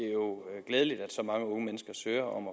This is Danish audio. er jo glædeligt at så mange unge mennesker søger om